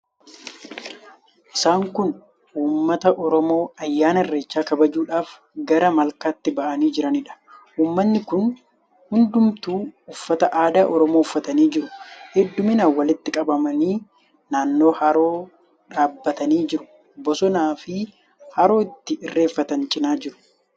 Isaan kun uummata Oromoo ayyaana Irreechaa kabajuudhaaf gara malkaatti ba'anii jiraniidha. Uummatni kun hundumtuu uffata aadaa Oromoo uffatanii jiru. Heddumminaan walitti qabamanii naannoo haroo dhaabbatanii jiru. Bosonaafi haroo itti irreeffatan cina jiru.